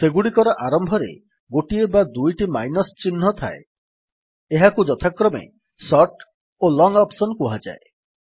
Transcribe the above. ସେଗୁଡିକର ଆରମ୍ଭରେ ଗୋଟିଏ ବା ଦୁଇଟି ମାଇନସ୍ ଚିହ୍ନ ଥାଏ ଏହାକୁ ଯଥାକ୍ରମେ ସର୍ଟ ଓ ଲଙ୍ଗ୍ ଅପ୍ସନ୍ କୁହାଯାଏ